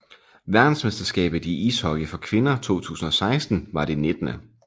Verdensmesterskabet i ishockey for kvinder 2016 var det 19